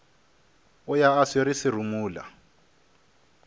o ya a swere serumula